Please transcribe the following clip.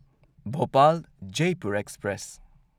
Bhopal Jaipur express